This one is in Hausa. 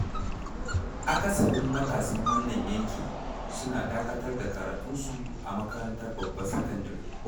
Akasarin matasan wannan yanki, suna dakatar da karatunsu a makarantar babbar sakandare.